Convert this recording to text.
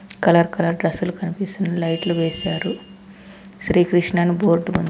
colour colour డ్రెస్లు కనిపిస్తుంది లైట్లు వేసారు శ్రీ కృష్ణ అని బోర్డు ఉం--